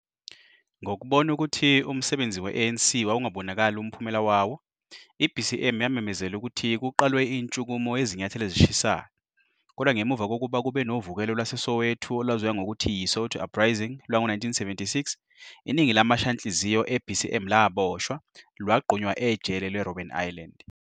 Ngokubona ukuthi umsebenzi we-ANC wawungabonakali umphumela waowo, i-BCM yamemezela ukuthi kuqalwe intshukumo yezinyathelo ezishisayo, kodwa ngemuva kokuba kube novukelo lwaseSoweto, olwaziwa ngokuthi yi-Soweto uprising lwango-1976, iningi lamashanhliziyo e-BCM laboshwa, lwagqunywa ejele le-Robben Island.